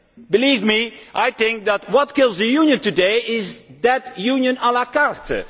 Believe me, I think that what is killing the Union today is that Union la carte.